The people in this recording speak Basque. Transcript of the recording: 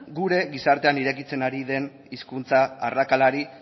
gure gizartean irekitzen ari den hizkuntza arrakalari